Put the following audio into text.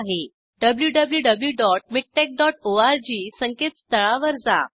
wwwmiktexorg संकेतस्थळावर जा